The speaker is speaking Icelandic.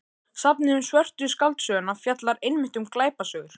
Safnið um Svörtu skáldsöguna fjallar einmitt um glæpasögur.